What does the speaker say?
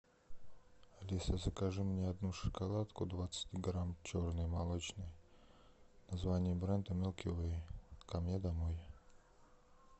алиса закажи мне одну шоколадку двадцать грамм черный молочный название бренда милки вей ко мне домой